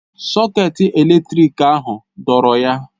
Sọketị eletrik ahụ dọọrọ ya.